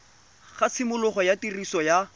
ga tshimologo ya tiriso ya